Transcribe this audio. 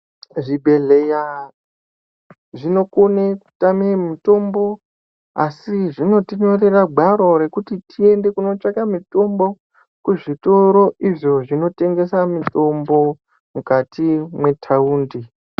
Zvibhedhleya zvinokone kutame mitombo asi zvinotinyorera gwaro rekuti tiende kunotsvake mitombo kuzvitoro izvo zvinotengesa mitombo mukati mwetaundi.